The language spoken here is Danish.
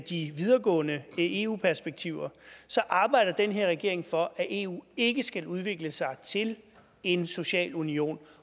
de videregående eu perspektiver arbejder den her regering for at eu ikke skal udvikle sig til en social union